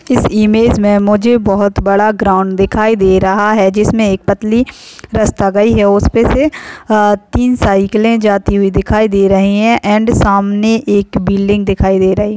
इस इमेज में मुझे बहुत बड़ा ग्राउंड दिखाई दे रहा है जिसमें एक पतली रस्ता गई है उस पे से अ-तीन साइकले जाती हुई दिखाई दे रही है एंड सामने एक बिल्डिंग दिखाई दे रही।